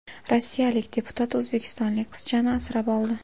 Rossiyalik deputat o‘zbekistonlik qizchani asrab oldi .